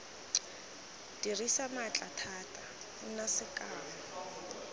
dirisa maatla thata nna sekao